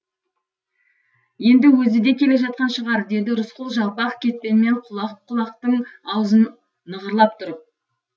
енді өзі де келе жатқан шығар деді рысқұл жалпақ кетпенмен құлақ құлақтың аузын нығарлап тұрып